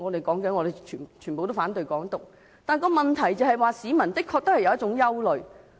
民主派反對"港獨"，但問題是，市民的確有憂慮。